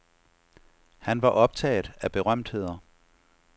Han var optaget af berømtheder.